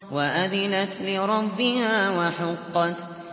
وَأَذِنَتْ لِرَبِّهَا وَحُقَّتْ